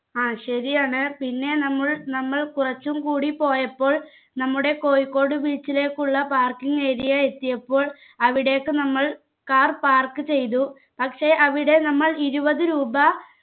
ആ ശരിയാണ് പിന്നെ നമ്മൾ നമ്മൾ കുറച്ചും കൂടി പോയപ്പോൾ നമ്മുടേ കോഴിക്കോട് beach ലേക്കുള്ള parking area എത്തിയപ്പോൾ അവിടേക്ക് നമ്മൾ car park ചെയ്തു പക്ഷെ അവിടെ നമ്മൾ ഇരുപത് രൂപ